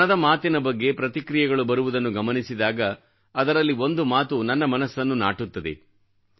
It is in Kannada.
ಮನದ ಮಾತಿನ ಬಗ್ಗೆ ಪ್ರತಿಕ್ರಿಯೆಗಳು ಬರುವುದನ್ನು ಗಮನಿಸಿದಾಗ ಅದರಲ್ಲಿ ಒಂದು ಮಾತು ನನ್ನ ಮನಸ್ಸನ್ನು ನಾಟುತ್ತದೆ